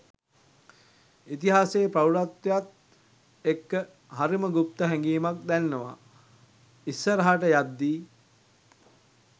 ඉතිහාසේ ප්‍රෞඩත්වයත් එක්ක හරිම ගුප්ත හැඟීමකුත් දැනෙනවා ඉස්සරහට යද්දී.